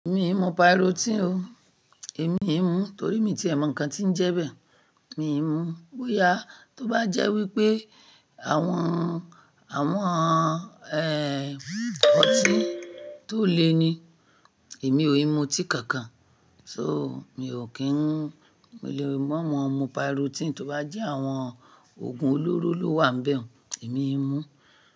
Mi ò mọ parotin o. Èmi ò mú torí mi ti mọ ǹkan tí ń jẹ́ bẹ́ẹ̀, mi ò mú. Bóyá tó bá jẹ́ wípé àwọn, àwọn, ẹ́, ọtí tó le ni, èmi ò lè mu tí kankan. So mi ò kí ń, mi ò lè mọ́ mọ mọ parotin. Tó bá jẹ́ àwọn òògùn olóró ló wà nbẹ, èmi n mú.